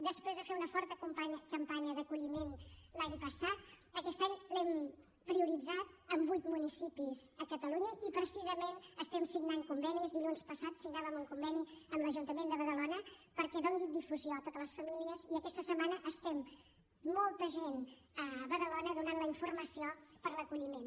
després d’haver fet una forta campanya d’acolliment l’any passat aquest any l’hem prioritzat en vuit municipis a catalunya i precisament estem signant convenis dilluns passat signàvem un conveni amb l’ajuntament de badalona perquè en doni difusió a totes les famílies i aquesta setmana estem molta gent a badalona donant la informació per l’acolliment